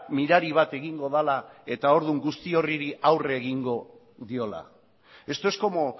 mirari bat egingo dela eta orduan guzti horri aurre egingo diola esto es como